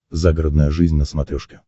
загородная жизнь на смотрешке